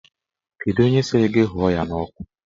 Kedụ onye sịrị gị hụọ ya n'ọkụ?